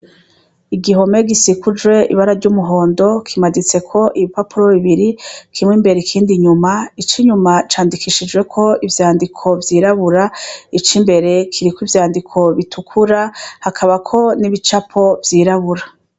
Igihome gisikuje ibara ry'umuhondo kimaditseko ibipapuro bibiri kimwe imbere ikindi nyuma ico inyuma candikishijweko ivyandiko vyirabura ico imbere kiriko ivyandiko bitukura hakabako n'ibicapo vyirabura.